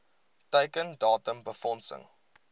teiken datum befondsing